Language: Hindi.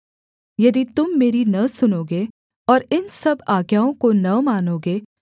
यदि तुम मेरी न सुनोगे और इन सब आज्ञाओं को न मानोगे